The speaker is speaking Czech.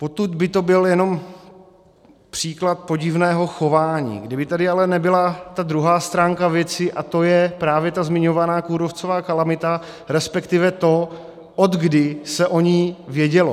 Potud by to byl jenom příklad podivného chování, kdyby tady ale nebyla ta druhá stránka věci, a to je právě ta zmiňovaná kůrovcová kalamita, respektive to, odkdy se o ní vědělo.